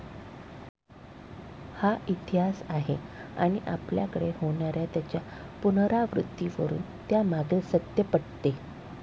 हा इतिहास आहे आणि आपल्याकडे होणाऱ्या त्याच्या पुनरावृत्तीवरून त्यामागील सत्य पटते.